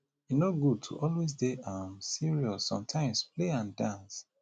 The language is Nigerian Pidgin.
e no good to always dey um serious sometimes play and dance